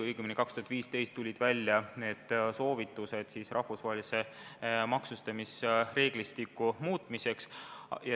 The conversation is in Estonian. Õigemini tuldi 2015. aastal välja soovitustega muuta rahvusvahelist maksustamisreeglistikku.